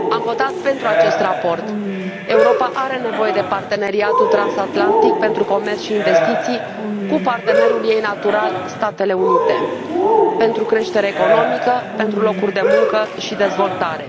Domnule președinte, am votat pentru acest raport. Europa are nevoie de Parteneriatul transatlantic pentru comerț și investiții cu partenerul ei natural, Statele Unite, pentru creștere economică, pentru locuri de muncă și pentru dezvoltare.